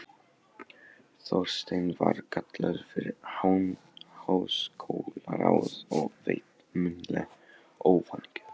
Þorsteinn var kallaður fyrir háskólaráð og veitt munnleg ofanígjöf.